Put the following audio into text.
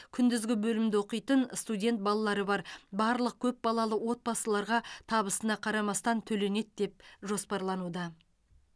күндізгі бөлімде оқитын студент балалары бар барлық көпбалалы отбасыларға табысына қарамастан төленеді деп жоспарлануда